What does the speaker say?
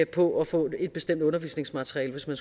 på at få et bestemt undervisningsmateriale hvis man